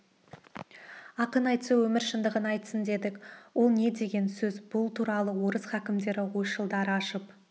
ақын айтса өмір шындығын айтсын дедік ол не деген сөз бұл туралы орыс хакімдері ойшылдары ашып